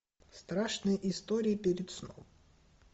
страшные истории перед сном